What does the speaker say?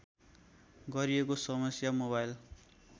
गरिएको समस्या मोबाइल